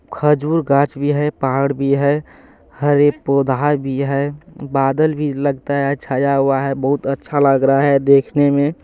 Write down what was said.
खजूर गाछ भी है पहाड़ भी है। हरे पौधा भी है। बादल भी लगता है छाया हुआ है बहुत अच्छा लग रहा है देखने में।